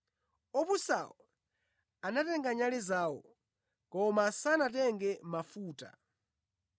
Opusawo anatenga nyale zawo koma sanatenge mafuta;